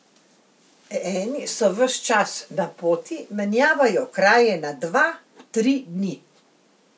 Eni so ves čas na poti, menjavajo kraje na dva, tri dni.